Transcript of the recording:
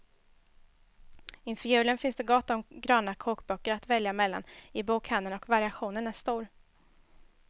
Inför julen finns det gott om gröna kokböcker att välja mellan i bokhandeln och variationen är stor.